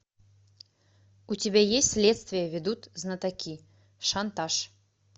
у тебя есть следствие ведут знатоки шантаж